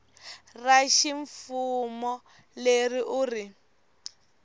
ra ximfumo leri u ri